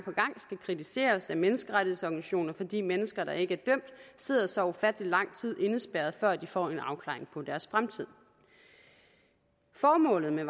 skal kritiseres af menneskerettighedsorganisationer fordi mennesker der ikke er sidder så ufattelig lang tid indespærret før de får en afklaring på deres fremtid formålet med